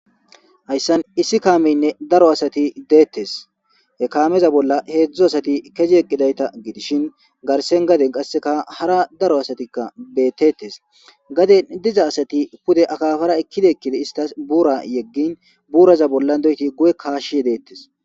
Hayssan issi kaameynne daro asati deettes he kaameza bolla heedzdzu asati kezi yeqqidayta gidishin garsen gaden qasseka hara daro asatikka beettetes gaden diza asati pude akafara ekkida ekkide istas buura yeggin buuraza bolla doyti gu'e kaashshyedeettes